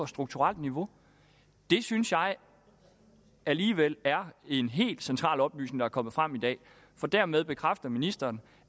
strukturelt niveau det synes jeg alligevel er en helt central oplysning der er kommet frem i dag for dermed bekræfter ministeren